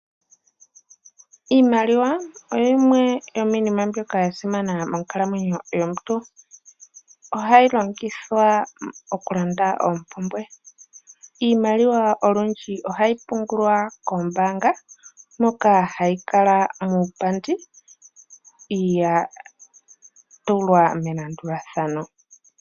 Iimaliwa oyo yimwe yomiinima mbyoka ya simana monkalamwenyo yomuntu. Ohayi longithwa oku landa oompumbwe. Iimaliwa olundji ohayi pungulwa kombaanga moka hayi kala muupandi, ya tulwa melandulathano.